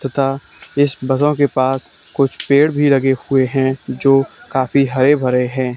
तथा इस बगों के पास कुछ पेड़ भी लगे हुए हैं जो काफी हरे भरे हैं।